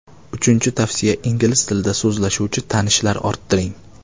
Uchinchi tavsiya ingliz tilida so‘zlashuvchi tanishlar orttiring.